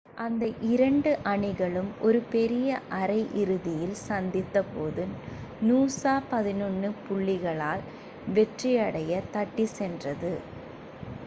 அந்த இரண்டு two அணிகளும் ஒரு பெரிய அரை இறுதியில் சந்தித்த போது நூசா 11 புள்ளிகளால் வெற்றியைத் தட்டிச் சென்றது